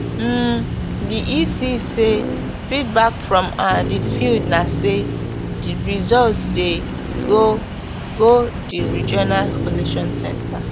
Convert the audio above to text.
um di ec say feedback from um di field na say di results dey go go di regional collation centre